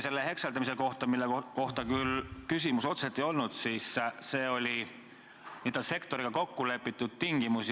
Selle hekseldamise kohta mul küll küsimust otseselt ei olnud, see on n-ö sektoriga kokku lepitud tingimus.